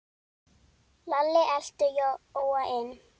Lalli elti Jóa inn.